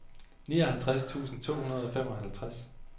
nioghalvtreds tusind to hundrede og femoghalvtreds